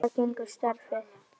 Út á hvað gengur starfið?